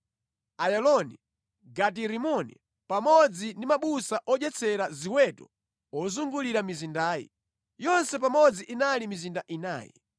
Ayaloni, Gati-Rimoni pamodzi ndi mabusa odyetsera ziweto ozungulira mizindayi. Yonse pamodzi inali mizinda inayi.